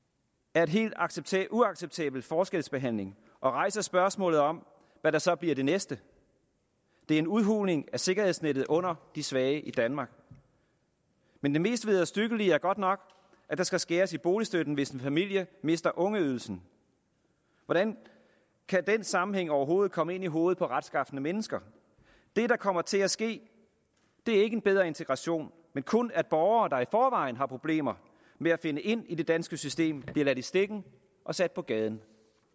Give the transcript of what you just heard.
er en helt uacceptabel uacceptabel forskelsbehandling og rejser spørgsmålet om hvad der så bliver det næste det er en udhuling af sikkerhedsnettet under de svage i danmark men det mest vederstyggelige er godt nok at der skal skæres i boligstøtten hvis en familie mister ungeydelsen hvordan kan den sammenhæng overhovedet komme ind i hovedet på retskafne mennesker det der kommer til at ske er ikke en bedre integration men kun at borgere der i forvejen har problemer med at finde ind i det danske system bliver ladt i stikken og sat på gaden